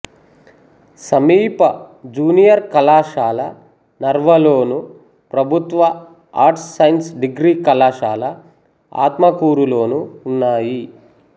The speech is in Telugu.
సమీప జూనియర్ కళాశాల నర్వలోను ప్రభుత్వ ఆర్ట్స్ సైన్స్ డిగ్రీ కళాశాల ఆత్మకూరులోనూ ఉన్నాయి